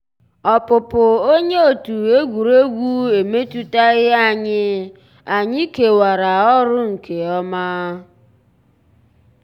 ọ́pụ́pụ́ ónyé ótú égwurégwu emétùtàghị́ ànyị́; ànyị́ kèwàrà ọ́rụ́ nkè ọ́má.